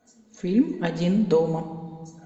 фильм один дома